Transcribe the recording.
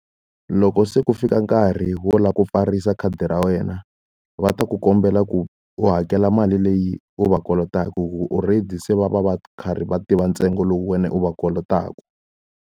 Loko se ku fika nkarhi wo lava ku pfarisa khadi ra wena, va ta ku kombela ku u hakela mali leyi u va kolotaka. Already se va va va karhi va tiva ntsengo lowu wena u va kolotaka.